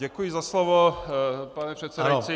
Děkuji za slovo, pane předsedající.